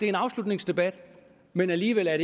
en afslutningsdebat men alligevel er